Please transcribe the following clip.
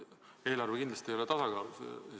Eelarve ei ole kindlasti tasakaalus.